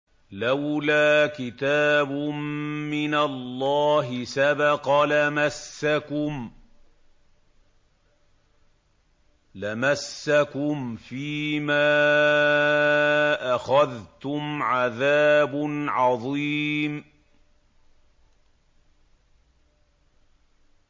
لَّوْلَا كِتَابٌ مِّنَ اللَّهِ سَبَقَ لَمَسَّكُمْ فِيمَا أَخَذْتُمْ عَذَابٌ عَظِيمٌ